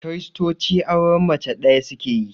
Kiristoci auren mace ɗaya suke yi